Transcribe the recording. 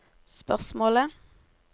spørsmålet